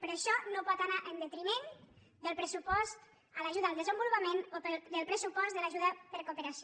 però això no pot anar en detriment del pressupost per a l’ajuda al desenvolupament o del pressupost per a l’ajuda a la cooperació